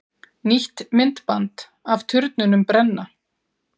Nýtt myndband af turnunum brenna